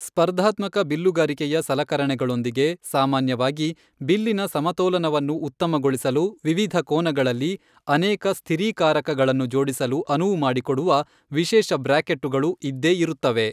ಸ್ಪರ್ಧಾತ್ಮಕ ಬಿಲ್ಲುಗಾರಿಕೆಯ ಸಲಕರಣೆಗಳೊಂದಿಗೆ ಸಾಮಾನ್ಯವಾಗಿ, ಬಿಲ್ಲಿನ ಸಮತೋಲನವನ್ನು ಉತ್ತಮಗೊಳಿಸಲು ವಿವಿಧ ಕೋನಗಳಲ್ಲಿ ಅನೇಕ ಸ್ಥಿರೀಕಾರಕಗಳನ್ನು ಜೋಡಿಸಲು ಅನುವು ಮಾಡಿಕೊಡುವ ವಿಶೇಷ ಬ್ರ್ಯಾಕೆಟ್ಟುಗಳು ಇದ್ದೇಇರುತ್ತವೆ.